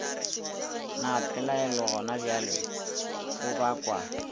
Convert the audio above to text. na pelaelo gonabjale o bakwa